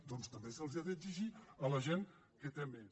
doncs també se’ls ha d’exigir a la gent que té més